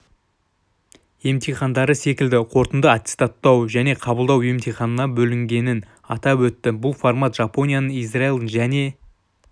емтихандары секілді қорытынды аттестаттау және қабылдау емтиханына бөлінгенін атап өтті бұл формат жапонияның израильдің және